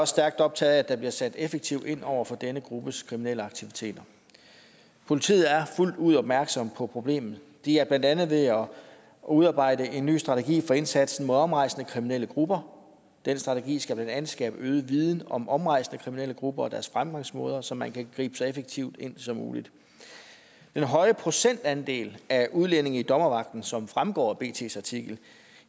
stærkt optaget af at der bliver sat effektivt ind over for denne gruppes kriminelle aktiviteter politiet er fuldt ud opmærksom på problemet de er blandt andet ved at udarbejde en ny strategi for indsatsen mod omrejsende kriminelle grupper den strategi skal blandt andet skabe øget viden om omrejsende kriminelle grupper og deres fremgangsmåder så man kan gribe så effektivt ind som muligt den høje procentandel af udlændinge i dommervagten som fremgår af bts artikel